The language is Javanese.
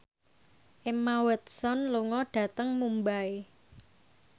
Emma Watson lunga dhateng Mumbai